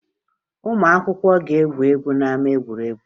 Ụmụ akwụkwọ ga-egwu egwu n'ama egwuregwu